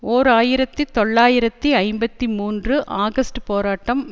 ஓர் ஆயிரத்தி தொள்ளாயிரத்தி ஐம்பத்தி மூன்று ஆகஸ்ட் போராட்டம்